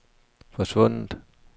forsvundet